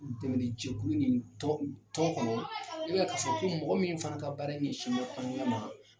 U dɛmɛni jɛkulu ni tɔgɔ tɔgɔ kɔnɔ, e ka kasa kɔmi mɔgɔ min fana ka baara ɲɛsinna an ɲa ma